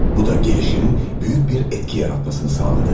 Bu da gəlişinin böyük bir təsir yaratmasını təmin etdi.